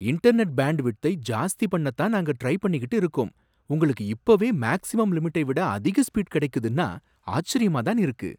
Internet பேண்டுவிட்த்தை ஜாஸ்தி பண்ணத்தான் நாங்க ட்ரை பண்ணிக்கிட்டு இருக்கோம், உங்களுக்கு இப்போவே மேக்ஸிமம் லிமிட்டை விட அதிக ஸ்பீடு கிடைக்குதுன்னா ஆச்சரியமாதான் இருக்கு.